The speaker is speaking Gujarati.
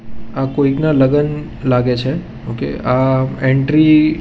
આ કોઈક ના લગન લાગે છે ઑકે આ એન્ટ્રી --